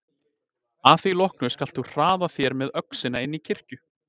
Að því loknu skalt þú hraða þér með öxina inn í kirkju.